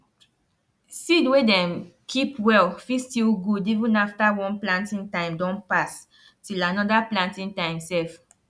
seed wey dem keep well fit still good even after one planting time don pass till another planting time sef